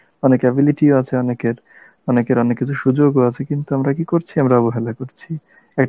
অনেক ability ও আছে অনেকের, অনেকের অনেক কিছু সুযোগও আছে কিন্তু আমরা কি করছি অবহেলা করছি, একটা